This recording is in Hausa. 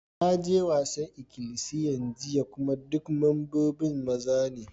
Na je wasan ikilisiyan jiya kuma dukan membobin maza ne.